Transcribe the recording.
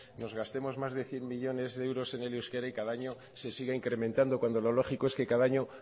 nos gastemos más de cien millónes de euros en el euskera y que cada año se siga incrementando cuando lo lógico es que cada año